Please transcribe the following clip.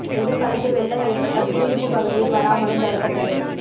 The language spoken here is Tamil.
எதிர் காலத்தில் வெள்ளம் ஏற்பட்டால் குடியிருப்புப் பகுதியில் வராமலும் தடுக்க முடியும்